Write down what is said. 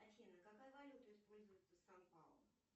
афина какая валюта используется в сан паулу